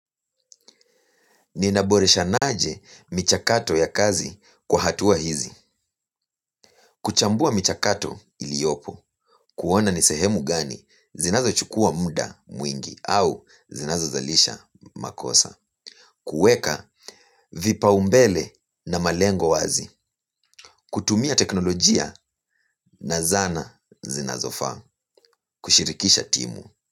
Ninaboresha aje michakato ya kazi kwa hatua hizi. Kuchambua michakato iliopo, kuona ni sehemu gani, zinazo chukua muda mwingi au zinazo zalisha makosa. Kuweka vipaumbele na malengo wazi. Kutumia teknolojia na zana zinazofaa. Kushirikisha timu.